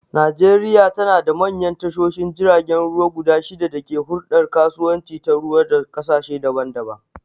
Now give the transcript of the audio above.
Najeriya tanada manyan tashoshin jiragen ruwa guda shida da ke huldar kasuwanci ta ruwa da kasashe daban-daban